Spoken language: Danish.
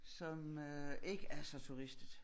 Som ikke er så turistet